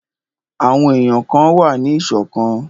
Àwọn èyàn kan wà ní ìṣọ̀kan.